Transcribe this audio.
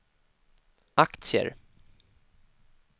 aktier